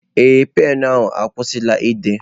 Ee, penụ ahụ akwụsịla ide.